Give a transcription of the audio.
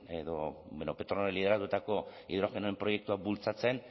lideratutako hidrogenoen proiektua bultzatzen